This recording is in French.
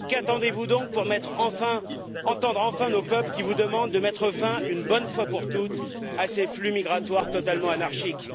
Qu'attendez vous donc pour entendre enfin nos peuples qui vous demandent de mettre fin, une bonne fois pour toutes, à ces flux migratoires totalement anarchiques?